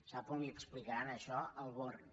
sap on li explicaran això al born